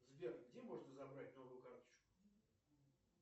сбер где можно забрать новую карточку